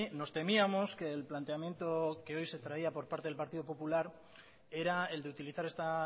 nos temíamos que el planteamiento que hoy se traía por parte del partido popular era el de utilizar esta